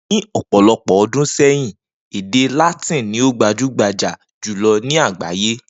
Ni òpò̩lo̩pò̩ o̩dún sé̩yìn, èdè Látìn ni o gbajúgbajà jùlo̩ ní àgbáyé